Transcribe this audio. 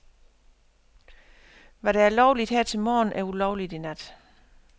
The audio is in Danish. Hvad der er lovligt her til morgen, er ulovligt i nat.